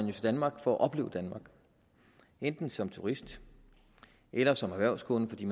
jo til danmark for at opleve danmark enten som turister eller som erhvervskunder fordi